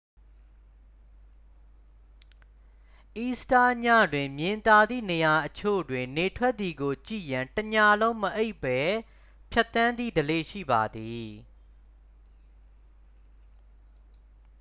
အီစတာညတွင် မြင်သာသည့်နေရာအချို့တွင် နေထွက်သည်ကိုကြည့်ရန် တစ်ညလုံးမအိပ်ဘဲဖြတ်သန်းသည့်ဓလေ့ ရှိပါသည်